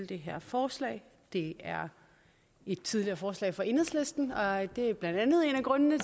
det her forslag det er et tidligere forslag fra enhedslisten og det er blandt andet en af grundene